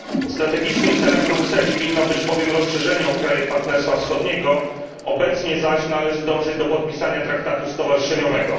Strategicznym celem Brukseli winno być bowiem rozszerzenie o kraje Partnerstwa Wschodniego, obecnie zaś należy dążyć do podpisania traktatu stowarzyszeniowego.